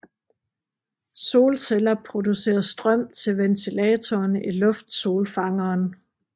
Solceller producerer strøm til ventilatoren i luftsolfangeren